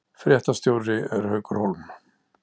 Fréttastjóri er Haukur Hólm